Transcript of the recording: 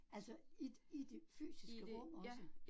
Altså i i det fysiske rum også